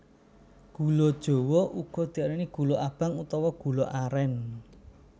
Gula jawa uga diarani gula abang utawa gula arén